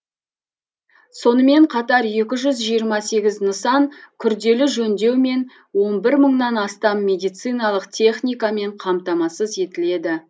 сонымен қатар екі жүз жиырма сегіз нысан күрделі жөндеу мен он бір мыңнан астам медициналық техникамен қамтамасыз етіледі